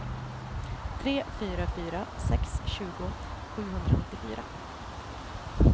tre fyra fyra sex tjugo sjuhundranittiofyra